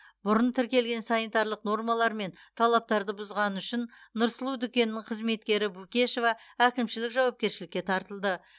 бұрын тіркелген санитарлық нормалар мен талаптарды бұзғаны үшін нұрсұлу дүкенінің қызметкері букешова әкімшілік жауапкершілікке тартылды